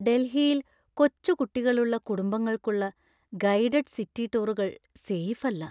ഡൽഹിയിൽ കൊച്ചുകുട്ടികളുള്ള കുടുംബങ്ങൾക്കുള്ള ഗൈഡഡ് സിറ്റി ടൂറുകൾ സേഫല്ല.